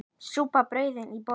Súpa og brauð í boði.